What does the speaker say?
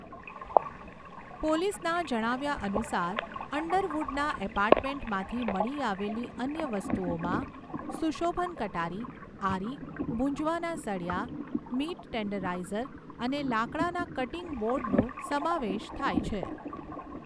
પોલીસના જણાવ્યા અનુસાર અંડરવુડના એપાર્ટમેન્ટમાંથી મળી આવેલી અન્ય વસ્તુઓમાં સુશોભન કટારી, આરી, ભુંજવાના સળિયા, મીટ ટેન્ડરાઈઝર અને લાકડાના કટીંગ બોર્ડનો સમાવેશ થાય છે.